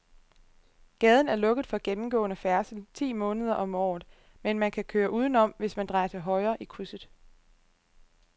Gaden er lukket for gennemgående færdsel ti måneder om året, men man kan køre udenom, hvis man drejer til højre i krydset.